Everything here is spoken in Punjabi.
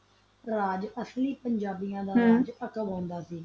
ਨਾਲ ਰਹੰਦਾ ਸੀ ਤਾ ਓਹੋ ਆਹ ਬਾਰਾ ਬੋਹਤ ਕੁਛ ਜਾਂਦਾ ਸਸਿ